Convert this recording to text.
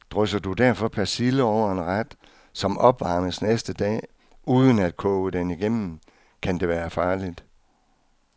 Drysser du derfor persille over en ret, som opvarmes næste dag, uden at koge den igennem, kan det være farligt.